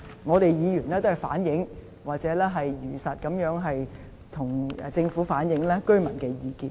我們議員也只是反映或如實地向政府反映居民的意見而已。